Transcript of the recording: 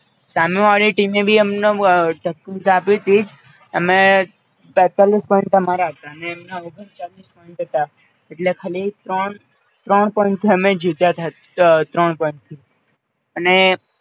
સામેવાળી ટીમે ભી અમને ટકપોચ આપીતી જ, અમે તૈતાલિશ point અમારા હતા અનેએમના ઓગણચાલીશ point એટલે ખાલી ત્રણ ત્રણ point જીત્યાતા, ત્રણ point થી અને